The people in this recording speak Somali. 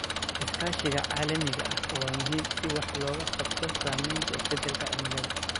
Iskaashiga caalamiga ah waa muhiim si wax looga qabto saameynta isbeddelka cimilada.